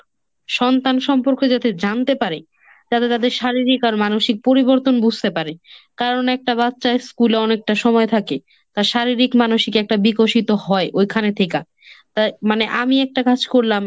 সন্তান সম্পর্কে যাতে জানতে পারে। যাতে তাদের শারীরিক আর মানসিক পরিবর্তন বুঝতে পারে কারণ একটা বাচ্চার school এ অনেকটা সময় থাকে। তার শারীরিক, মানসিক একটা বিকশিত হয় ওইখানে থেকা। তাই মানে আমি একটা কাজ করলাম